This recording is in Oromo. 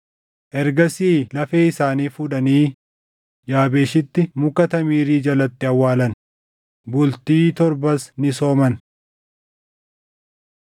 Ergasii lafee isaanii fuudhanii Yaabeeshitti muka tamirii jalatti awwaalan; bultii torbas ni sooman.